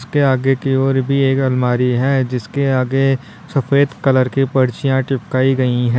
इसके आगे की ओर भी एक अलमारी है जिसके आगे सफेद कलर की पर्चियां चिपकाई गई हैं।